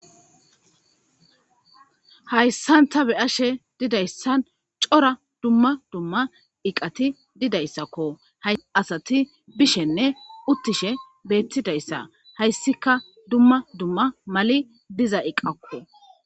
hayssanta be ashe didayssan cora dumma dumma iqati didayssakko hay asati bishenne uttishe beettidayssa hayssika dumma dumma mali diza iqakko